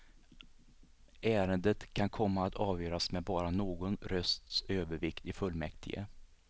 Ärendet kan komma att avgöras med bara någon rösts övervikt i fullmäktige.